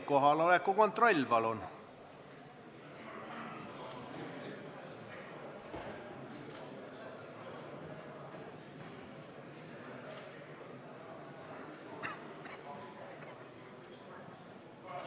Kohaloleku kontroll, palun!